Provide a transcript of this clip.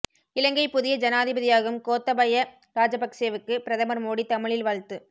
இலங்கை புதிய ஜனாதிபதியாகும் கோத்தபயா ராஜபக்சேவுக்கு பிரதமர் மோடி தமிழில் வாழ்த்து